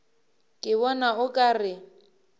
ke bona o ka re